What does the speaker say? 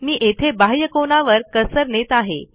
मी येथे बाह्य कोनावर कर्सर नेत आहे